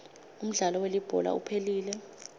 umdlalo welibhola uphelile